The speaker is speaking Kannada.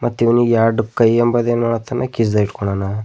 ಮತ್ ಇವ್ನಿಗ್ ಎರಡು ಕೈಯಂಬತ ಅದನ್ನು ಕಿಸೆ ಇಟ್ಕೊಂಡವನ.